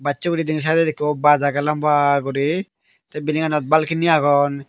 bacche guri denedi sydot ikko baj agey lamba guri tay bildinganot balkeni agon.